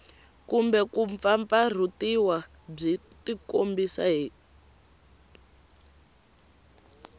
kumbe kumpfampfarhutiwa byi tikombisa hi